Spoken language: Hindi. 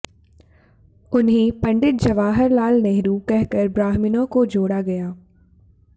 उन्हें पंडित जवाहरलाल नेहरू कहकर ब्राह्मणों को जोड़ा गया